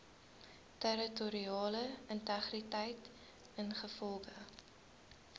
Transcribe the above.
territoriale integriteit ingevolge